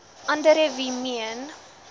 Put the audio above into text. andere wie meen